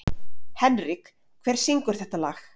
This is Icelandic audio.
Henrik, hver syngur þetta lag?